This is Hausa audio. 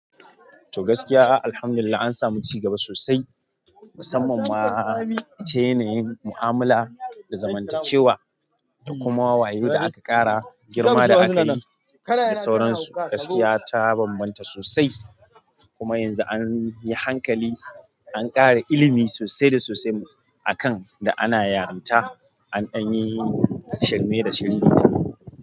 To gaskiya, Alhamdulillah an samu cigaba sosai, musamman ma ta yanayin mu'amala da zamantakewa da kuma wayo da aka ƙara, girma da aka yi da sauransu. Gaskiya ta banbanta sosai kuma yanzu an yi hankali, an ƙara ilimi sosai da sosai a kan da ana yaranta ɗan yi shirme da shiririta.